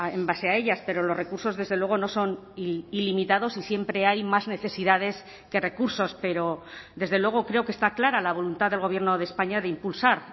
en base a ellas pero los recursos desde luego no son ilimitados y siempre hay más necesidades que recursos pero desde luego creo que está clara la voluntad del gobierno de españa de impulsar